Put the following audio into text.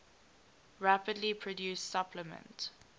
rapidly produced supplement